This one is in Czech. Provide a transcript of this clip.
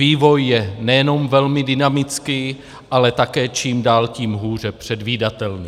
Vývoj je nejenom velmi dynamický, ale také čím dál tím hůře předvídatelný.